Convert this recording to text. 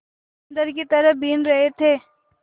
बंदर की तरह बीन रहे थे